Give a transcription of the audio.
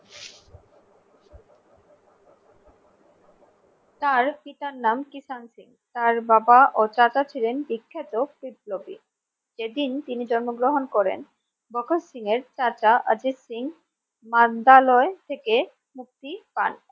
তার পিতার নাম কিষান সিং তার বাবা ও চাচা ছিলেন বিখ্যাত বিপ্লবী যেদিন তিনি জন্মগ্রহণ করেন মকর সিং এর চাচা অজিত সিং নান্দলায় থেকে মুক্তি পান